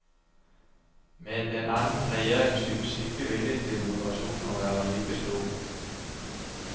Med en annen regjering synes ikke viljen til moderasjon å være like stor.